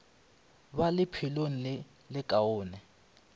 ba le lephelo le lekaone